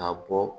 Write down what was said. Ka bɔ